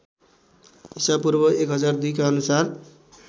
ईपू १००२ का अनुसार